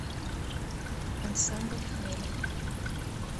ансамбль хмель